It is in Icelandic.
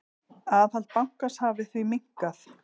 Aðhald bankans hafi því minnkað.